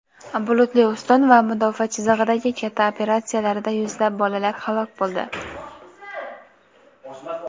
"bulutli ustun" va "mudofaa chizig‘i"dagi katta operatsiyalarida yuzlab bolalar halok bo‘ldi.